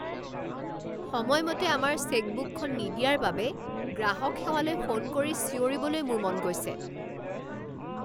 সময়মতে আমাৰ চেকবুকখন নিদিয়াৰ বাবে গ্ৰাহক সেৱালৈ ফোন কৰি চিঞৰিবলৈ মোৰ মন গৈছে।